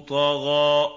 طَغَىٰ